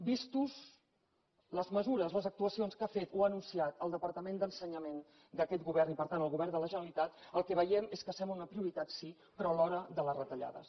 vistes les mesures les actuacions que ha fet o ha anunciat el departament d’ensenyament d’aquest govern i per tant el govern de la generalitat el que veiem és que sembla una prioritat sí però alhora de les retallades